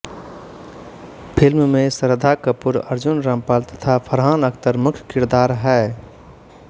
film में श्रद्धा कपूर अर्जुन रामपाल तथा फरहान अख्तर मुख्य किरदार है